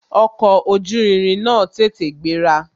Ọkọ̀ ojú irin náà tètè gbéra